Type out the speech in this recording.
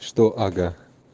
что ага